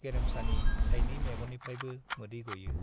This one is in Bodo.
गेरेमसानि थाइनै मेगननिफ्रायबो मोदै गयो।